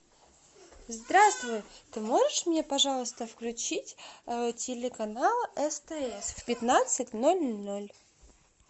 здравствуй ты можешь мне пожалуйста включить телеканал стс в пятнадцать ноль ноль